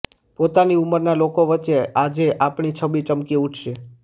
પોતાની ઉમરના લોકો વચ્ચે આજે આપની છબી ચમકી ઉઠશે